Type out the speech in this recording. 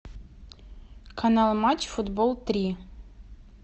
канал матч футбол три